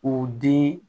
O den